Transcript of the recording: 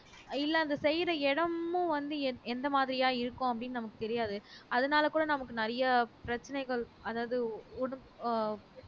இல்ல அந்த செய்யற இடமும் வந்து எந்த மாதிரியா இருக்கும் அப்படின்னு நமக்கு தெரியாது அதனாலே கூட நமக்கு நிறைய பிரச்சனைகள் அதாவது உடு அஹ்